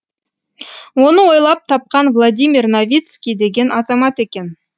оны ойлап тапқан владимир новицкий деген азамат екен